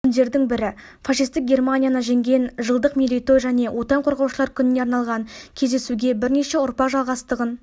күндердің бірі фашистік германияны жеңген жылдық мерейтой және отан қорғаушылар күніне арналған кездесугебірнеше ұрпақ жалғастығын